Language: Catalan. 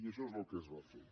i això és el que es va fer